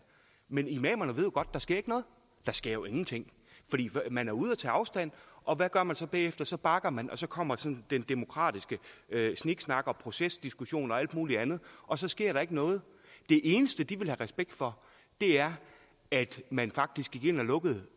men imamerne ved jo godt der sker noget der sker jo ingenting man er ude at tage afstand og hvad gør man så bagefter så bakker man og så kommer den demokratiske sniksnak og procesdiskussion og alt muligt andet og så sker der ikke noget det eneste de have respekt for er at man faktisk gik ind og lukkede